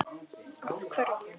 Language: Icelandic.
Af hverju?